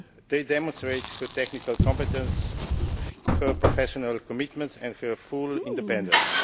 They demonstrate her technical competence, her professional commitment and her full independence.